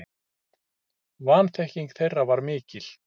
Vanþekking þeirra var mikil.